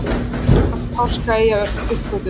Hvenær var Páskaeyja uppgötvuð?